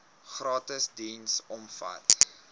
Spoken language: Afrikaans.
gratis diens omvat